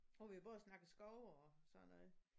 Har vi jo både snakket skove og sådan noget